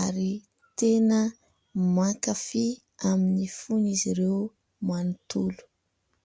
ary tena mankafia amin'ny fon'izy ireo manontolo.